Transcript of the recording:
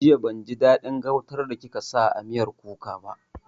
Jiya ban ji daɗin gautan da kika sa a miyar kuka ba